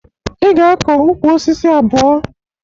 Ị ga-akọ ukwu osisi abụọ!